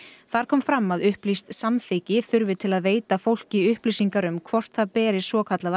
þar kom fram að upplýst samþykki þurfi til að veita fólki upplýsingar um hvort það beri svokallaða